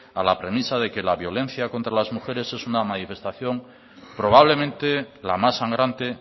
a la premisa de que la violencia contra las mujeres es una manifestación probablemente la más sangrante